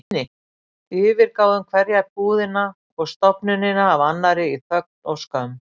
Yfirgáfum hverja búðina og stofnunina af annarri í þögn og skömm.